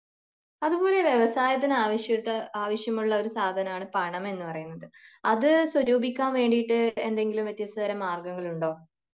അതുപോലെ വ്യവസായത്തിന് ആവിശ്യട്ട് ആവിശ്യമുള്ള ഒരു സാധനമാണ് പണം എന്ന് പറയുന്നത് അത് സ്വരൂപിക്കാൻ വേണ്ടിട്ട് എന്തെങ്കിലും വ്യത്യസ്ത തരം മാർഗങ്ങൾ ഉണ്ടോ